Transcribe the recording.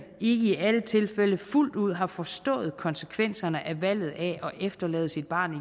i alle tilfælde fuldt ud har forstået konsekvenserne af valget af at efterlade sit barn